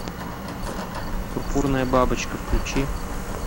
пурпурная бабочка включи